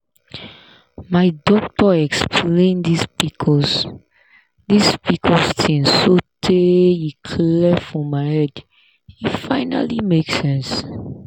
my doctor explain this pcos this pcos thing sotay e clear for my head e finally make sense.